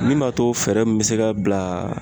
Min b'a to fɛɛrɛ mun bɛ se ka bila